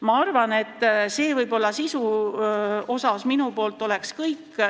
Ma arvan, et see on sisu kohta minu poolt kõik.